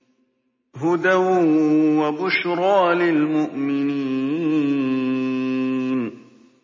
هُدًى وَبُشْرَىٰ لِلْمُؤْمِنِينَ